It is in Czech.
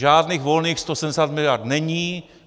Žádných volných 170 miliard není.